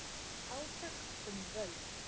Átök um völd